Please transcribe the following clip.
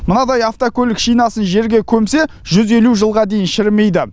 мынадай автокөлік шинасын жерге көмсе жүз елу жылға дейін шірімейді